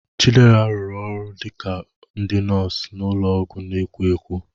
Chidera rụrụ ọrụ dị ka ndị nọọsụ n'ụlọọgwụ na-ekwo ekwo.